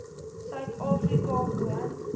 suid afrika woon